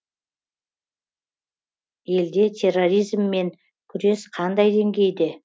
елде терроризммен күрес қандай деңгейде